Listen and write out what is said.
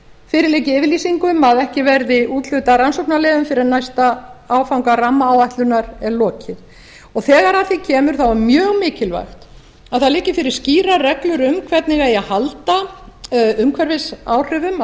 fyrir liggi yfirlýsing um að ekki verði úthlutað rannsóknarleyfum fyrr en næsta áfanga rammaáætlunar er lokið og þegar að því kemur er mjög mikilvægt að það liggi fyrir skýrar reglur um hvernig eigi að halda umhverfisáhrifum af